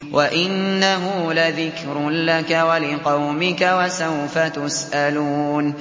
وَإِنَّهُ لَذِكْرٌ لَّكَ وَلِقَوْمِكَ ۖ وَسَوْفَ تُسْأَلُونَ